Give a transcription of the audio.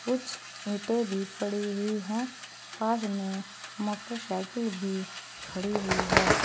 कुछ ईंटें भी पड़ी हुई हैं पास में मोटरसाइकिल भी खड़ी हुई है।